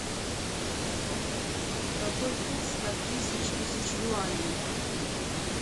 какой курс от тысяч тысяч юаней